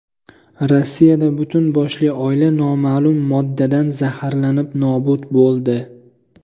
Rossiyada butun boshli oila noma’lum moddadan zaharlanib nobud bo‘ldi.